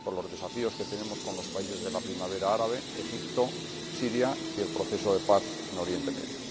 con los desafíos que tenemos en relación con los países de la Primavera Árabe, Egipto, Siria y el proceso de paz en Oriente Próximo.